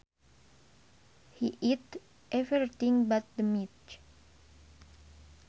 He ate everything but the meat